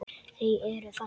Þau eru þannig.